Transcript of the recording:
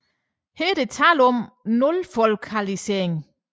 Her er der tale om nulfolkalisering